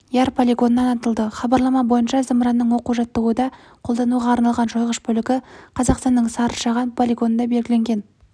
яр полигонынан атылды хабарлама бойынша зымыранның оқу-жаттығуда қолдануға арналған жойғыш бөлігі қазақстанның сарышаған полигонында белгіленген